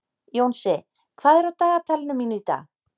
Jónsi, hvað er á dagatalinu mínu í dag?